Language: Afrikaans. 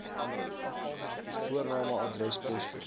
voorname adres poskode